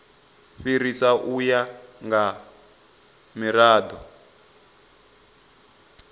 fhirisa u ya nga mirado